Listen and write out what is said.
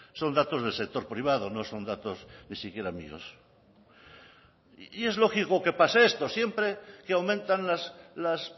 son datos del sector privado no son datos ni siquiera míos y es lógico que pase esto siempre que aumentan las